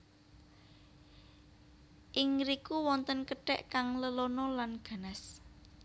Ing ngriku wonten kethek kang lelana lan ganas